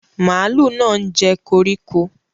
Màlúù náà ń jẹ koríko.